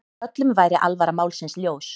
Öllum væri alvara málsins ljós.